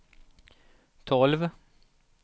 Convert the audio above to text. tolv